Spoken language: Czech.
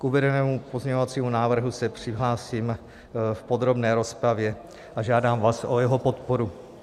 K uvedenému pozměňovacímu návrhu se přihlásím v podrobné rozpravě a žádám vás o jeho podporu.